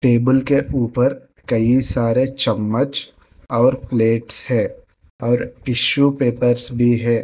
Table के ऊपर कई सारे चम्मच और प्लेट्स है और टिशू पेपर्स भी हैं।